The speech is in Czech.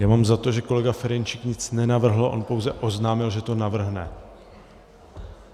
Já mám za to, že kolega Ferjenčík nic nenavrhl, on pouze oznámil, že to navrhne.